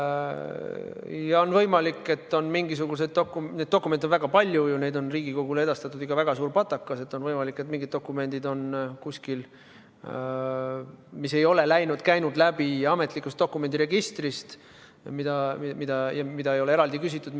Ja on võimalik, et on kuskil mingisuguseid dokumente – neid dokumente on väga palju ju, neid on Riigikogule edastatud ikka väga suur patakas –, mis ei ole käinud läbi ametlikust dokumendiregistrist, mida ei ole eraldi küsitud.